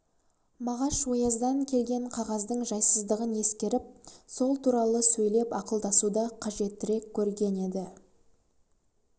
мағаш ояздан келген қағаздың жайсыздығын ескеріп сол туралы сөйлеп ақылдасуды қажеттірек көрген еді